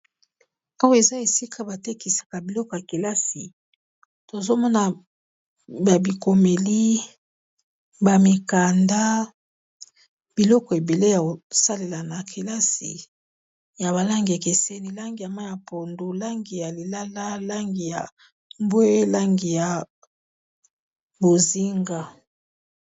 Awa eza esika ba tekisaka biloko ya kelasi tozo mona ba bikomeli, ba mikanda. Biloko ebele ya kosalela na kelasi ya ba langi ekeseni langi ya mayi ya pondu, langi ya lilala, langi ya mbwe, langi ya bozinga.